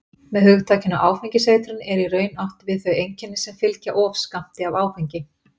Með hugtakinu áfengiseitrun er í raun átt við þau einkenni sem fylgja ofskammti af áfengi.